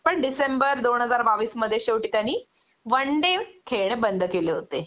पण डिसेंबर दोन हजार बावीस मध्ये शेवटी त्यांनी वन डे खेळणं बंद केले होते